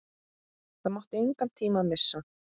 Það mátti engan tíma missa.